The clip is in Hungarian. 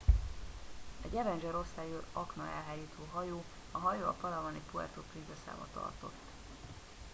egy avenger osztályú aknaelhárító hajó a hajó a palawani puerto princesába tartott